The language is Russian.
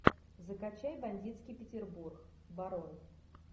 закачай бандитский петербург барон